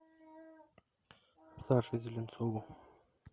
саше зеленцову